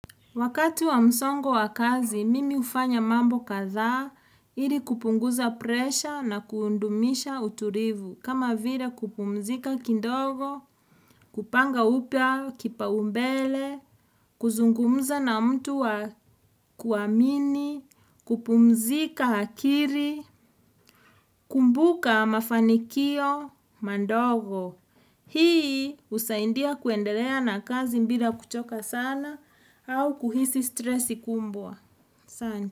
Wakati wa msongo wa kazi, mimi hufanya mambo kadhaa, ili kupunguza presha na kuundumisha utupivu. Kama vile kupumzika kidogo, kupanga upya kipaumbele, kuzungumza na mtu wa kuamini, kupumzika akiri, kumbuka mafanikio mandogo. Hii husaindia kuendelea na kazi mbila kuchoka sana au kuhisi stresi kumbwa. San.